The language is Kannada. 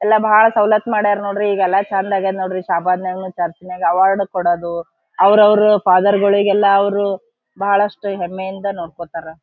ಎಲ್ಲ ಬಹಳ ಸೌಲತ್ ಮಾಡ್ಯಾರ ನೋಡ್ರಿ ಈಗ ಎಲ್ಲ ಚಂದ ಅಗ್ಯರೆ ನೋಡ್ರಿ ಶಾಬಾದ್ ಚರ್ಚ್ ನಾಗ ಅವಾರ್ಡ್ ಕೊಡೋದು ಅವ್ರ ಅವ್ರ ಫಾದರ್ ಗಳಿಗೆಲ್ಲ ಅವ್ರವ್ರು ಬಹಳಷ್ಟು ಹೆಮ್ಮೆಯಿಂದ ನೋಡ್ಕೊಂತಾರ .